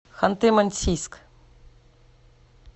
ханты мансийск